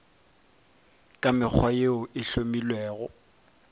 ka mekgwa yeo e hlomilwego